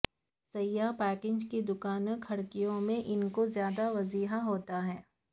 سیاہ پیکجنگ دکان کھڑکیوں میں ان کو زیادہ واضح ہوتا ہے